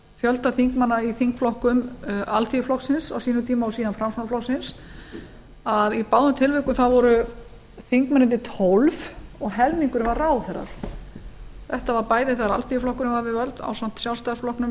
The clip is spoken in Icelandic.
fjölda þingmanna í þingflokkum alþýðuflokksins á sínum tíma og síðan framsóknarflokksins að í báðum tilvikum voru þingmennirnir tólf og helmingurinn var ráðherrar þetta voru bæði þegar alþýðuflokkurinn var við völd ásamt sjálfstæðisflokknum nítján hundruð